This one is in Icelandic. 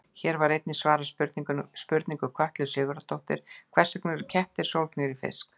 Hér er einnig svarað spurningu Kötlu Sigurðardóttur: Hvers vegna eru kettir sólgnir í fisk?